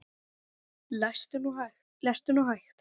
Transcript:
Lestu nú hægt!